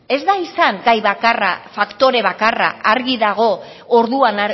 ez da izan gai bakarra faktore bakarra argi dago orduan